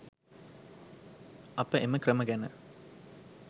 අප එම ක්‍රම ගැන